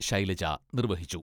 ശൈലജ നിർവഹിച്ചു.